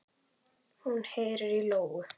Hún heyrir í lóu.